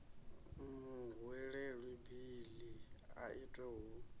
muhwelelwa beiḽi i itwe hu